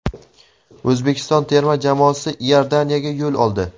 O‘zbekiston terma jamoasi Iordaniyaga yo‘l oldi.